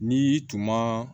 N'i y'i tuma